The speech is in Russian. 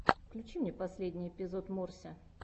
включи мне последний эпизод морся